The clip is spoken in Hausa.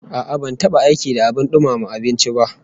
A'a, ban taba aiki da abin dumama abinci ba